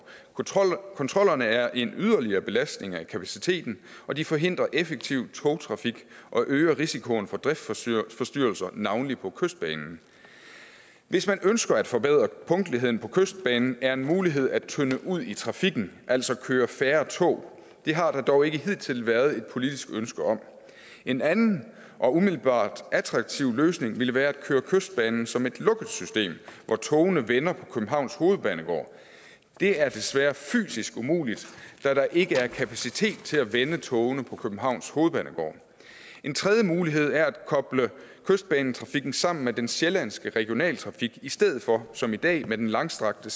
kontrollerne er en yderligere belastning af kapaciteten og de forhindrer effektiv togtrafik og øger risikoen for driftsforstyrrelser navnlig på kystbanen hvis man ønsker at forbedre punktligheden på kystbanen er en mulighed at tynde ud i trafikken altså køre færre tog det har der dog ikke hidtil været et politisk ønske om en anden og umiddelbart attraktiv løsning ville være at køre kystbanen som et lukket system hvor togene vender på københavns hovedbanegård det er desværre fysisk umuligt da der ikke er kapacitet til at vende togene på københavns hovedbanegård en tredje mulighed er at koble kystbanetrafikken sammen med den sjællandske regionaltrafik i stedet for som i dag med den langstrakte